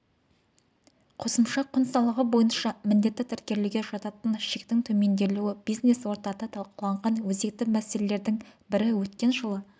қосымша құн салығы бойынша міндетті тіркелуге жататын шектің төмендетілуі бизнес-ортада талқыланған өзекті мәселелердің бірі өткен жылы